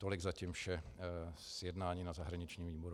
Tolik zatím vše z jednání na zahraničním výboru.